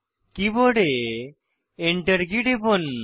কীবোর্ডের Enter key টিপুন